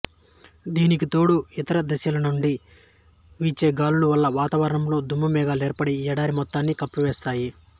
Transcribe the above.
దీనికితోడు ఇతర దిశలనుండి వీచే గాలుల వల్ల వాతావరణంలో దుమ్ము మేఘాలు ఏర్పడి ఈ ఎడారి మొత్తాన్ని కప్పివేస్తాయి